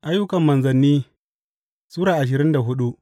Ayyukan Manzanni Sura ashirin da hudu